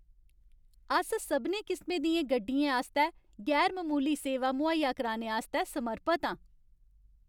अस सभनें किसमें दियें गड्डियें आस्तै गैर ममूली सेवा मुहैया कराने आस्तै समर्पत आं।